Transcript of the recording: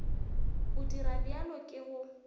go dira bjalo ke go